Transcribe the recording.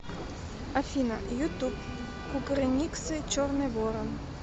афина ютуб кукрыниксы черный ворон